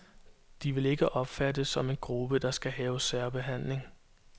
De vil ikke opfattes som en gruppe, der skal have særbehandling.